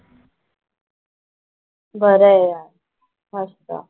बरं आहे यार. मस्त.